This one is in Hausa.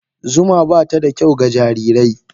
Zuma ba ta da kyau ga jarirai.